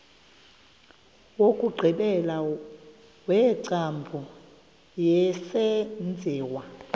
wokugqibela wengcambu yesenziwa